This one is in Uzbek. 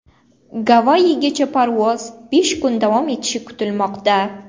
Gavayigacha parvoz besh kun davom etishi kutilmoqda.